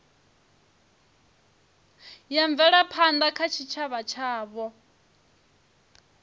ya mvelaphanda kha tshitshavha tshavho